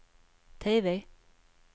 TV